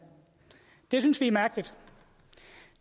det synes vi er mærkeligt